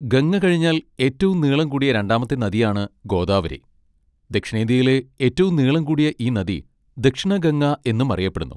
ഗംഗ കഴിഞ്ഞാൽ ഏറ്റവും നീളം കൂടിയ രണ്ടാമത്തെ നദിയാണ് ഗോദാവരി, ദക്ഷിണേന്ത്യയിലെ ഏറ്റവും നീളം കൂടിയ ഈ നദി 'ദക്ഷിണ ഗംഗ' എന്നും അറിയപ്പെടുന്നു.